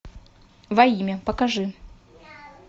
во имя покажи